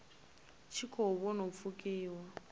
tshi khou vhona u pfukiwa